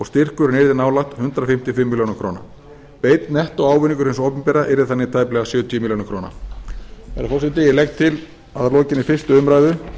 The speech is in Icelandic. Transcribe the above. styrkurinn yrði nálægt hundrað fimmtíu og fimm er beinn nettóávinningur hins opinbera yrði þannig tæplega sjötíu er herra forseti ég legg til að að lokinni fyrstu umræðu